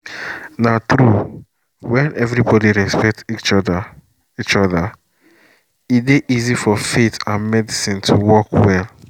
na true when everybody respect each other each other e dey easy for faith and medicine to work well together